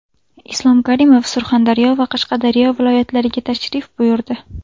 Islom Karimov Surxondaryo va Qashqadaryo viloyatlariga tashrif buyurdi.